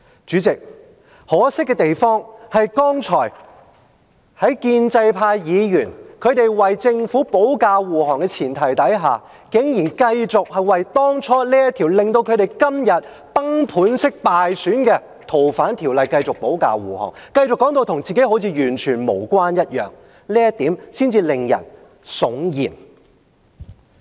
主席，可惜的是，剛才建制派議員為政府保駕護航的前提下，竟然繼續為這條令他們今天崩盤式敗選的《逃犯條例》的修訂保駕護航，繼續說成好像跟他們沒有關係般，這一點才令人悚然。